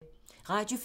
Radio 4